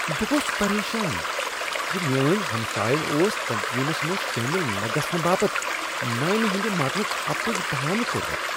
بہ گوس پریشان ز میٲنۍ ہمساین اوس تنظیمس منٛز شٲمل نہ گژھنہٕ باپت نانہِ ہندِ مرنک اپُز بہانہٕ كورمُت۔